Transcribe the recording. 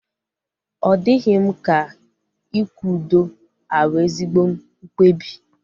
Ọ dịghị m ka ịkwụ ụdọ abu ezigbo mkpebi